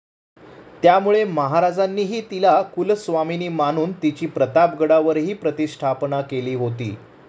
त्यामुळे महाराजांनीही तिला कुलस्वामिनी मानून, तिची प्रतापगडावरही प्रतिष्ठापना केली होती.